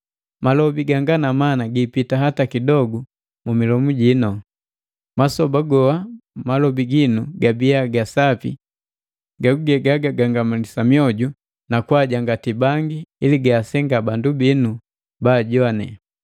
Malobi ganga na mana giipita hata kidogu mu milomu ji; masoba goa malobi ginu gabiya ga sapi gaguge gagangamalisa mioju na kwaajangati bangi, ili gaasenga bandu binu baajoane.